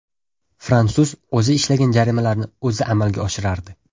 Fransuz o‘zi ishlagan jarimalarni o‘zi amalga oshirardi.